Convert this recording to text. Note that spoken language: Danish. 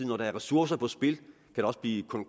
når der er ressourcer på spil kan der også blive